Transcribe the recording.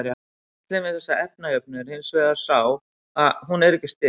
gallinn við þessa efnajöfnu er hins vegar sá að hún er ekki stillt